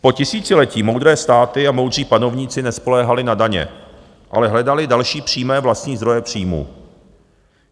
Po tisíciletí moudré státy a moudří panovníci nespoléhali na daně, ale hledali další přímé vlastní zdroje příjmů.